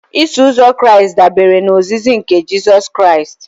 Iso uzọ Kraịst dabere na ozizi nke Jizọs Kraịst